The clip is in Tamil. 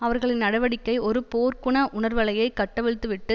அவர்களின் நடவடிக்கை ஒரு போர்குண உணர்வலையைக் கட்டவிழ்த்துவிட்டு